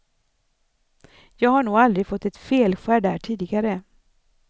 Jag har nog aldrig fått ett felskär där tidigare.